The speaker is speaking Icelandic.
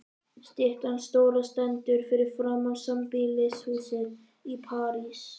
Styttan stóra stendur fyrir framan sambýlishúsið í París.